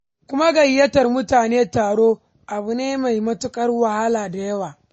Kuma gayyatar mutane taro, abu ne mai matuƙar wahala da yawa.